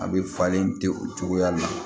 A bɛ falen ten o cogoya la